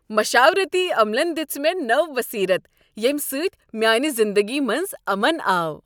مشاورتی عملن دِژ مےٚ نٔو بصیرت ییٚمہ سۭتۍ میٛانہ زندگی منٛز امن آو۔